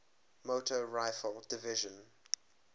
motor rifle division